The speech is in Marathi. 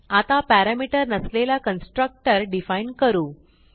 आता पॅरामीटर नसलेला कन्स्ट्रक्टर डिफाईन करू